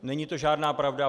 Není to žádná pravda.